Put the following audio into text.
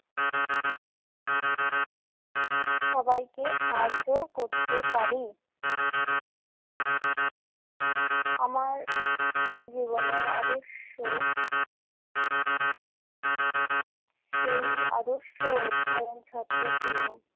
সবাইকে সাহায্যও করতে পারি। আমার স্কুল জীবনের আদর্শ সেই আদর্শ অধ্যয়ন ছাত্র ছিলাম।